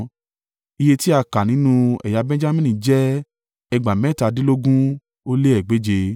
Iye tí a kà nínú ẹ̀yà Benjamini jẹ́ ẹgbàá mẹ́tàdínlógún ó lé egbèje (35,400).